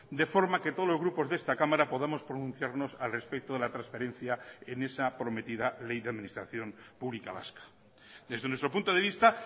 de forma que todos los grupos de esta cámara podamos pronunciarnos al respecto de la transferencia en esa prometida ley de administración publica vasca desde nuestro punto de vista